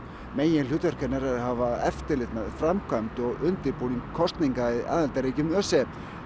meginhlutverk hennar er að hafa eftirlit með framkvæmd og undirbúningi kosninga í aðildarríkjum ÖSE